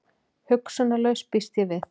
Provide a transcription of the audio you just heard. Hugsunarlaus, býst ég við.